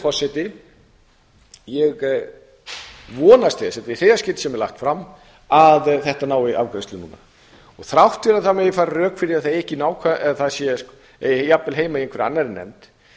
þess þetta er í þriðja skipti sem þetta er lagt fram að þetta nái afgreiðslu núna og þrátt fyrir að það megi færa rök fyrir að það eigi jafnvel heima í einhverri annarri nefnd